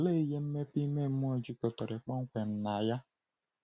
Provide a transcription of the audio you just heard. Olee ihe mmepe ime mmụọ jikọtara kpọmkwem na ya?